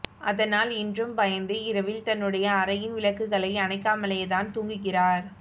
அதனால் இன்றும் பயந்து இரவில் தன்னுடைய அறையின் விளக்குகளை அணைக்காமலேதான் தூங்குகிறார்